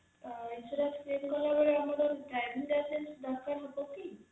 insurance claim କଲାବେଳେ ଆମର driving lincence ଦରକାର ହବ କି